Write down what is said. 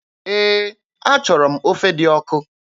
Ee, achọrọ m ofe dị ọkụ.